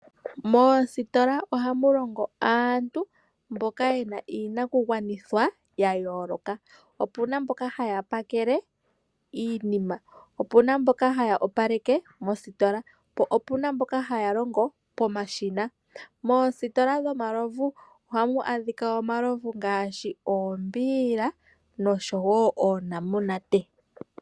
Moositola ohamu longo aantu mboka ye na iinakugwanithwa ya yooloka. Opu na mboka hay apakele iinima, opu na mboka haya opaleke mositola po opu na mboka haya longo pomashina. Moositola dhomalovu ohamu adhika omalovu ngaashi oombiila noshowo oonamunanate.